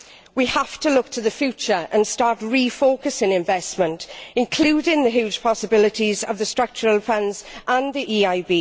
We have to look to the future and start refocusing investment, including the huge possibilities of the Structural Funds and the EIB.